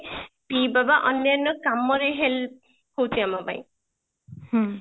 ପିଇବା ବା ଅନ୍ୟାନ୍ୟ କାମ ରେ help ହଉଛି ଆମ ପାଇଁ